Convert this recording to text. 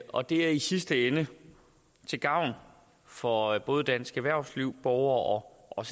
og det er i sidste ende til gavn for både dansk erhvervsliv borgere og